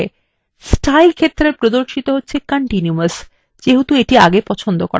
style ক্ষেত্রে প্রদর্শিত হচ্ছে continuous যেহেতু the পছন্দ ছিল